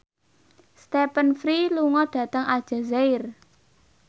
Stephen Fry lunga dhateng Aljazair